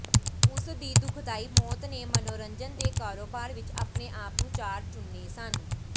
ਉਸ ਦੀ ਦੁਖਦਾਈ ਮੌਤ ਨੇ ਮਨੋਰੰਜਨ ਦੇ ਕਾਰੋਬਾਰ ਵਿਚ ਆਪਣੇ ਆਪ ਨੂੰ ਚਾਰ ਚੁਨੇ ਸਨ